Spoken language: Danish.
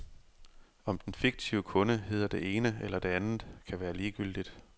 Om den fiktive kunde hedder det ene eller det andet kan være ligegyldigt.